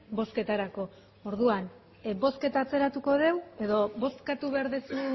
bozketarako orduan bozketa atzeratuko dugu edo bozkatu behar duzu